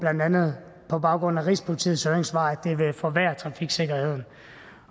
andet på baggrund af rigspolitiets høringssvar at det vil forværre trafiksikkerheden